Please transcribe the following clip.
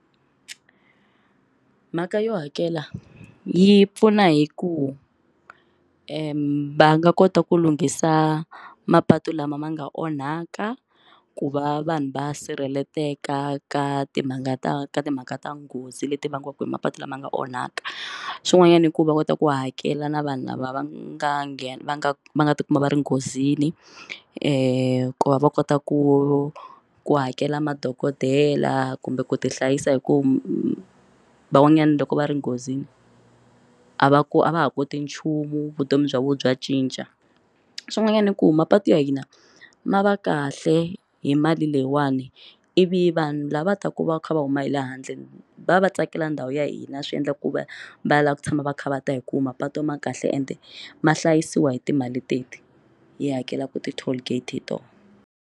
Mhaka yo hakela yi pfuna hi ku va nga kota ku lunghisa mapatu lama ma nga onhaka ku va vanhu va sirheleleka na timhaka ta ka timhaka ta nghozi leti vangiwaka hi mapatu lama nga onhaka swin'wanyana i ku va kota ku hakela na vanhu lava vanga nge va nga va nga tikuma va ri nghozini ku ku va va kota ku ku hakela madokodela kumbe ku ti hlayisa hi ku van'wanyana loko va ri nghozini a va ku a va ha koti nchumu vutomi bya vona bya cinca swin'wanyana i ku mapatu ya hina ma va kahle hi mali leyiwani ivi vanhu lava taka va kha va huma hi le handle va va va tsakela ndhawu ya hina swi endla ku va va ya lava ku tshama va kha va ta hi ku mapatu ma kahle ende ma hlayisiwa hi timali teti hi hakelaka ti toll gate hi tona.